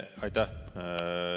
Aitäh!